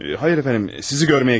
Hayır efendim, sizi görməyə gəldim.